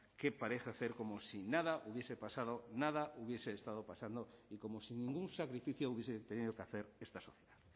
que parece hacer como si nada hubiese pasado nada hubiese estado pasando y como sin ningún sacrificio hubiese tenido que hacer esta sociedad